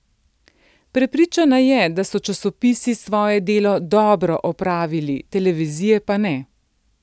Prepričana je, da so časopisi svoje delo dobro opravili, televizije pa ne.